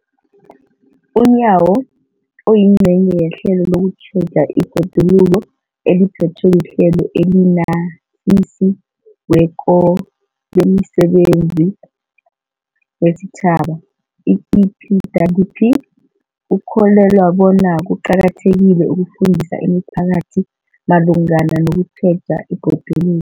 UNyawo, oyingcenye yehlelo lokutjheja ibhoduluko eliphethwe liHlelo eliNatjisi weko lemiSebenzi yesiTjhaba, i-EPWP, ukholelwa bona kuqakathekile ukufundisa imiphakathi malungana nokutjheja ibhodulu